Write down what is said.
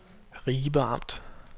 Ribe Amt